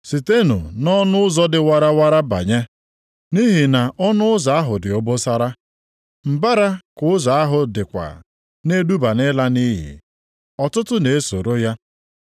“Sitenụ nʼọnụ ụzọ dị warawara banye. Nʼihi na ọnụ ụzọ ahụ dị obosara. Mbara ka ụzọ ahụ dịkwa na-eduba nʼịla nʼiyi. Ọtụtụ na-esoro ya.